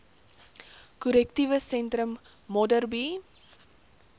korrektiewe sentrum modderbee